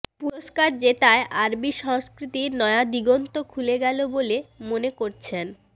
পুরস্কার জেতায় আরবি সংস্কৃতির নয়া দিগন্ত খুলে গেল বলে মনে করছেন